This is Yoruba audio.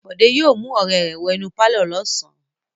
Bọ̀dé yóò mú ọ̀rẹ́ rẹ̀ wọ inú pálọ̀ lọ́sàn-án.